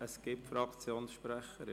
Ja, es gibt Fraktionssprecher.